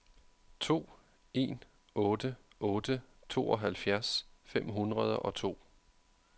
to en otte otte tooghalvfjerds fem hundrede og to